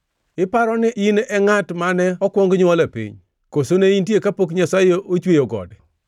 “Iparo ni in e ngʼat mane okuong nywol e piny? Koso ne intie kapok Nyasaye ochweyo gode?